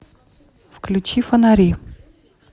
включи фонари